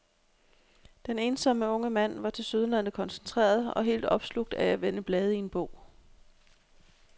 Den ensomme unge mand var tilsyneladende koncentreret og helt opslugt af at vende blade i en bog.